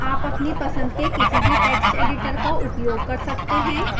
आप अपनी पसंद के किसी भी text editor का उपयोग कर सकते हैं